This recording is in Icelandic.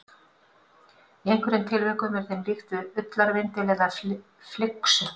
Í einhverjum tilvikum er þeim líkt við ullarvindil eða flyksu.